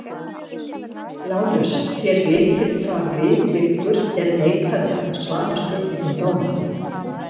LÁRUS: Þér vitið hvað við liggur ef neitað er að svara spurningum dómara?